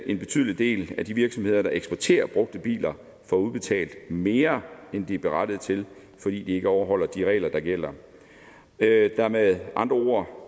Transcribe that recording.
en betydelig del af de virksomheder der eksporterer brugte biler får udbetalt mere end de er berettiget til fordi de ikke overholder de regler der gælder der er med andre ord